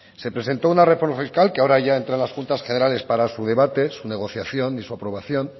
se presentó una reforma fiscal que ahora ya entra en las juntas generales para su debate su negociación y su aprobación